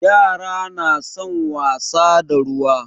Yara na son wasa da ruwa.